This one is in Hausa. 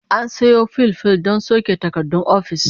An sayo fil fil na soke takardun ofis